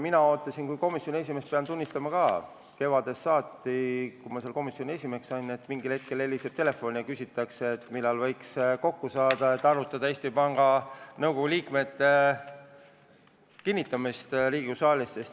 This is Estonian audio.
Mina kui komisjoni esimees pean tunnistama, et ma ootasin kevadest saati, kui ma komisjoni esimeheks sain, et mingil hetkel heliseb telefon ja küsitakse, millal võiks kokku saada, et arutada Eesti Panga Nõukogu liikmete kinnitamist Riigikogu saalis.